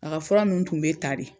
A ka fura ninnu tun bɛ ta de.